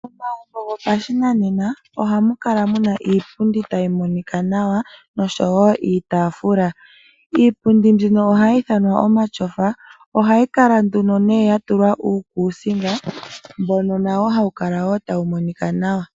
Momagumbo gopashinanena ohamu kala muna iipundi tayi monika nawa noshowo iitafuula. Iipundi mbino ohayi ithanwa omatyofa ohayi kala nduno nee ya tulwa uukuusinga mbono nawo woo hawu kala tawu monika nawa.